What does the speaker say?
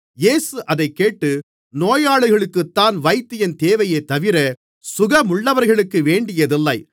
இயேசு அதைக்கேட்டு நோயாளிகளுக்குத்தான் வைத்தியன் தேவையேதவிர சுகமுள்ளவர்களுக்கு வேண்டியதில்லை